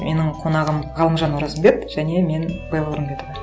менің қонағым галымжан оразымбет және мен белла орынбетова